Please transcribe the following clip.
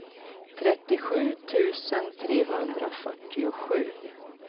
trettiosju tusen trehundrafyrtiosju